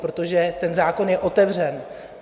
Protože ten zákon je otevřen.